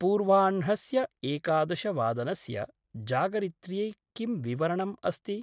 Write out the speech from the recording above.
पूर्वाह्णस्य एकादशवादनस्य जागरित्र्यै किं विवरणम् अस्ति?